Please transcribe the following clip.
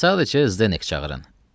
Sadəcə Zdek çağırın.